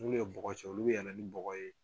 N'u ye bɔgɔ ci olu bi yɛlɛ ni bɔgɔ ye